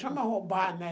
Chama roubar, né?